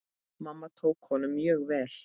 Mamma tók honum mjög vel.